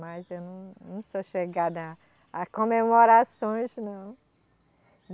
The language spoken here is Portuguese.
Mas eu não, não sou chegada a, a comemorações, não.